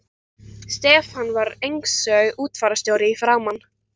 Stefán var einsog útfararstjóri í framan.